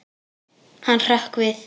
Hann hrökk við.